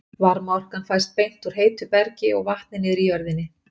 Varmaorkan fæst beint úr heitu bergi og vatni niðri í jörðinni.